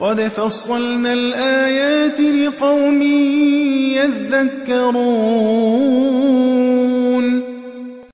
قَدْ فَصَّلْنَا الْآيَاتِ لِقَوْمٍ يَذَّكَّرُونَ